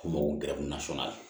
K'u mago gɛrɛ nasɔn na